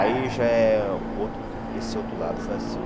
Aí já é outro, esse outro lado foi assim.